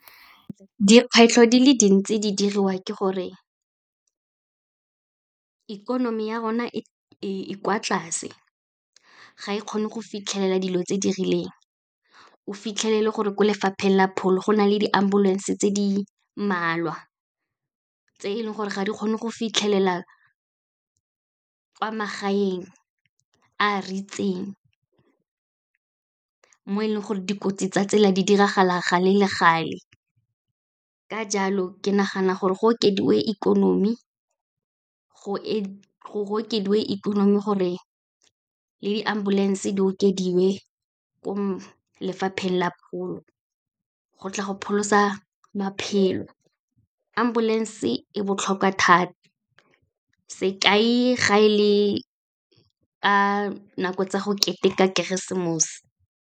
Dikgwetlho di le dintsi di diriwa ke gore ikonomi ya rona e kwa tlase, ga e kgone go fitlhelela dilo tse di rileng. O fitlhele gore ko lefapheng la pholo go na le di-ambulance tse di mmalwa, tse e leng gore ga di kgone go fitlhelela kwa magaeng a a , mo e leng gore dikotsi tsa tsela di diragala gale le gale. Ka jalo, ke nagana gore go okediwe ikonomi gore le di-ambulance di okediwe ko lefapheng la pholo go tla go pholosa maphelo. Ambulance e botlhokwa thata, sekai, ga e le ka nako tsa go keteka Keresemose.